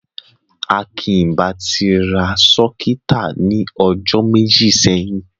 Akín ì bá ti rá sọ́kítà ní ojó mẹ́jì sẹ́yìn.